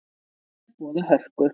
Sjómenn boða hörku